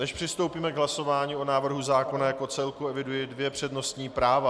Než přistoupíme k hlasování o návrhu zákona jako celku, eviduji dvě přednostní práva.